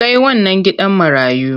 Kai wannan gidan marayu!